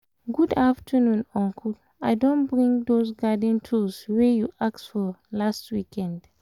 good afternoon uncle. i don bring those garden tools wey you ask for last weekend